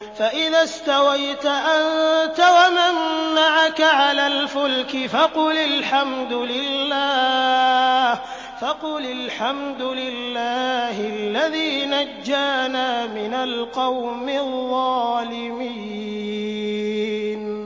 فَإِذَا اسْتَوَيْتَ أَنتَ وَمَن مَّعَكَ عَلَى الْفُلْكِ فَقُلِ الْحَمْدُ لِلَّهِ الَّذِي نَجَّانَا مِنَ الْقَوْمِ الظَّالِمِينَ